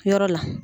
Yɔrɔ la